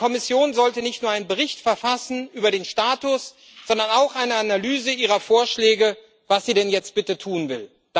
Die Kommission sollte nicht nur einen Bericht verfassen über den Status, sondern auch eine Analyse ihrer Vorschläge vorlegen, was sie denn jetzt bitte tun will.